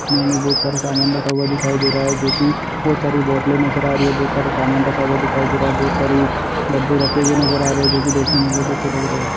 इन्होंने बहुत सारा समान रखा हुवा दिखाई दे रहा है जोकि बहुत सारी बोटले नजर आ रही है बहुत सारे समान रखा हुवा दिखाई दे रहा है बहुत सारे डब्बे रखे हुए नजर आ रहे है जोकि देखने मे बहुत ही अच्छा लग रहे है।